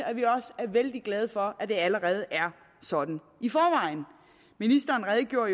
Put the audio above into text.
at vi også er vældig glade for at det allerede er sådan i forvejen ministeren redegjorde